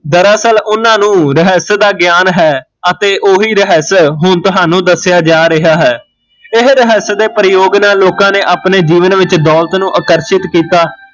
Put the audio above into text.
ਦਰਅਸਲ ਓਹਨਾਂ ਨੂ ਰਹੱਸ ਦਾ ਗਿਆਨ ਹੈ ਅਤੇ ਓਹੀ ਰਹੱਸ ਹੁਣ ਤੁਹਾਨੂ ਦੱਸਿਆ ਜਾ ਰਿਹਾ ਹੈ ਇਹ ਰਹੱਸ ਦੇ ਪ੍ਰਯੋਗ ਨਾਲ਼ ਲੋਕਾਂ ਨੇ ਆਪਣੇ ਜੀਵਨ ਵਿੱਚ ਦੋਲਤ ਨੂ ਆਪਣੇ ਜੀਵਨ ਵਿੱਚ ਆਕਰਸ਼ਿਤ ਕੀਤਾ